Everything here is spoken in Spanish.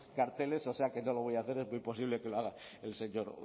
carteles o sea que no lo voy a hacer es muy posible que lo haga el señor